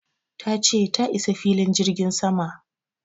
ta ce ta isa filin jirgin sama